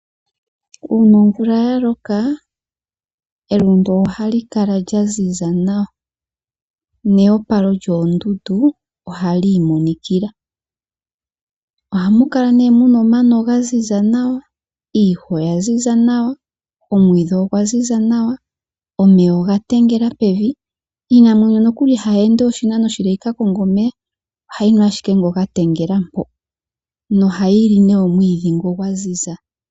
Uuna omvula yaloka elundu oha li kala lya ziza nawa nehopalo lyoondundu oha li imonikila, ohamu kala omano ga ziza nawa iihawa oya ziza nawa ,omwiidhi ogwa ziza nawa nomeya oga tengela pevi, iinamwenyo ihayi ende we oshinano oshile yi kakonge omeya ohayi nu ashike ngoka ga tengela po noha yili omwiidhi ngoka gwa ziza.